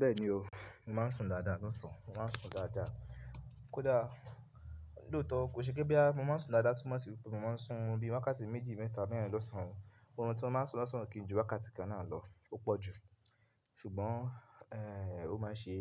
Bẹ́ẹ̀ni o, mo máa ń sùn dáadáa lọ́sàn-án, mo máa ń sùn dáadáa. Kódà lóòótọ́ kò ṣe pé bí mo máa ń sùn dáadáa túmọ̀ sí pé mo máa ń sùn bí wákàtí méjì mẹ́ta báyìí lọ́sàn-án. Òórùn tí mo máa ń sùn lọ́sàn-án kì í ju wákàtí kan náà lọ, ó pọ̀ jù. Ṣùgbọ́n, eh, ó máa ń ṣe